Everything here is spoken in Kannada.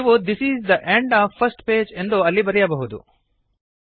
ನೀವು this is the end of first page ಎಂದು ಅಲ್ಲಿ ಬರೆಯಬಹುದು